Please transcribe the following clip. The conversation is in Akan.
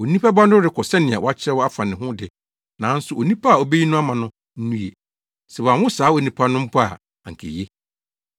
Onipa Ba no rekɔ sɛnea wɔakyerɛw afa ne ho de, nanso onipa a obeyi no ama no, nnue! Sɛ wɔanwo saa onipa no mpo a, anka eye.”